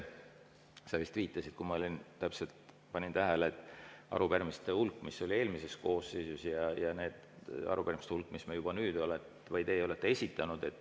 Sa vist viitasid, kui ma panin täpselt tähele, arupärimiste hulgale, mis oli eelmises koosseisus, ja arupärimiste hulgale, mis meie oleme või mis teie olete nüüd esitanud.